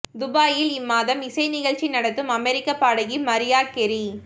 துபாயில் இம்மாதம் இசை நிகழ்ச்சி நடத்தும் அமெரிக்கப் பாடகி மரியா கெறி